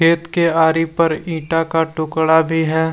खेत के आरी पर ईटा का टुकड़ा भी है।